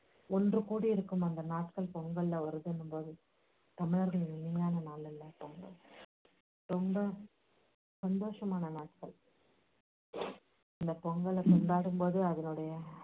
ஒன்றுக் கூடியிருக்கும் அந்த நாட்கள் பொங்கல்ல வருதுன்னுங்கும்போது தமிழர்கள் இல்லாத நாட்கள் இல்ல பொங்கல் ரொம்ப சந்தோஷமான நாட்கள் இந்தப் பொங்கலைக் கொண்டாடும்போது அதனுடைய